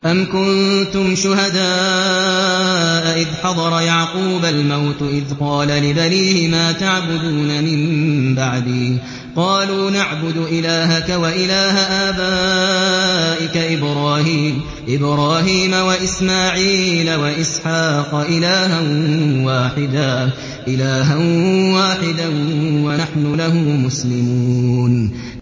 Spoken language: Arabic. أَمْ كُنتُمْ شُهَدَاءَ إِذْ حَضَرَ يَعْقُوبَ الْمَوْتُ إِذْ قَالَ لِبَنِيهِ مَا تَعْبُدُونَ مِن بَعْدِي قَالُوا نَعْبُدُ إِلَٰهَكَ وَإِلَٰهَ آبَائِكَ إِبْرَاهِيمَ وَإِسْمَاعِيلَ وَإِسْحَاقَ إِلَٰهًا وَاحِدًا وَنَحْنُ لَهُ مُسْلِمُونَ